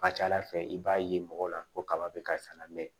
Ka ca ala fɛ i b'a ye mɔgɔw la ko kaba bɛ ka sa la mɛ